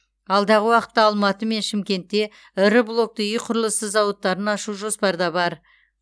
алдағы уақытта алматы мен шымкентте ірі блокты үй құрылысы зауыттарын ашу жоспарда бар